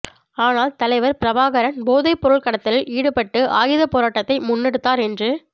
ஆனால் தலைவர் பிரபாகரன் போதைப்பொருள் கடத்தலில் ஈடுபட்டு ஆயுதப் போராட்டத்தை முன்னெடுத்தார் என்று